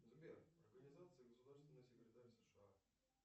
сбер организации государственный секретарь сша